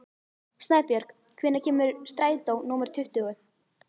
Snæbjörg, hvenær kemur strætó númer tuttugu?